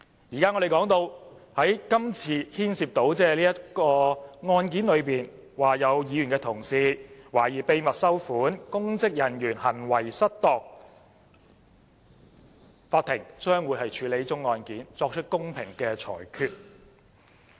如今，這宗案件關乎有議員同事懷疑秘密收款，公職人員行為失當；法庭將會處理這宗案件，作出公平的裁決。